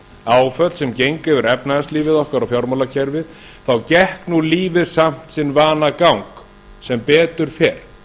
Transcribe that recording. áföll sem gengu yfir efnahagslífið okkar og fjármálakerfið gekk lífið samt sinn vanagang sem betur fer